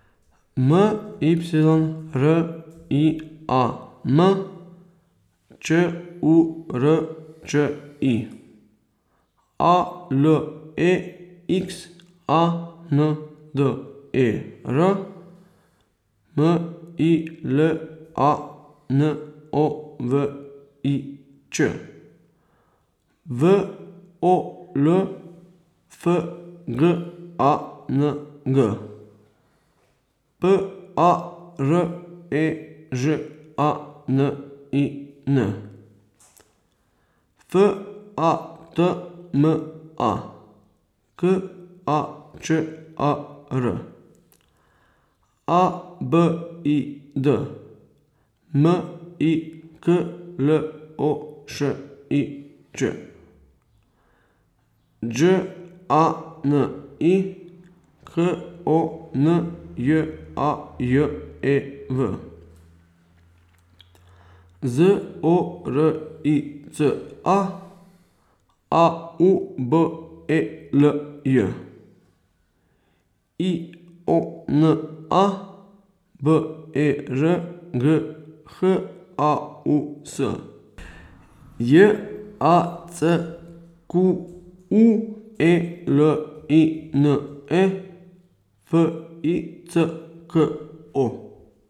M Y R I A M, Č U R Č I; A L E X A N D E R, M I L A N O V I Ć; W O L F G A N G, P A R E Ž A N I N; F A T M A, K A Č A R; A B I D, M I K L O Š I Č; Đ A N I, K O N J A J E V; Z O R I C A, A U B E L J; I O N A, B E R G H A U S; J A C Q U E L I N E, F I C K O.